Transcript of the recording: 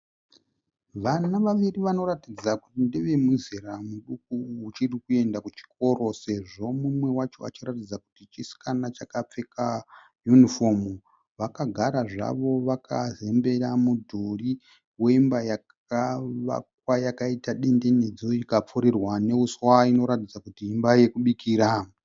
Vana vaviri vanoratidza kuti ndevemizera miduku uchirikuenda kuchikoro sezvo mumwe wacho achiratidza kuti chisikana chakapfeka yunifomu. Vakagara zvavo vakazembera mudhuri wemba yakavakwa yakaita dendenedzu ikapfurirwa neuswa inoratidza kuti imba yekubikira.